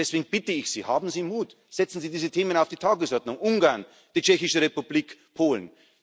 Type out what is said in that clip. Und deswegen bitte ich Sie Haben Sie Mut, setzen Sie diese Themen auf die Tagesordnung Ungarn, die Tschechische Republik, Polen.